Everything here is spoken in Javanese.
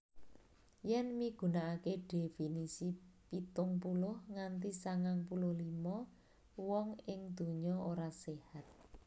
Yèn migunakaké dhéfinisi pitung puluh nganti sangang puluh limo wong ing donya ora séhat